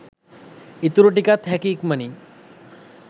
ඉතුරු ටිකත් හැකි ඉක්මනින්